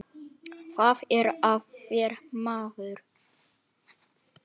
Hvað er að þér, maður?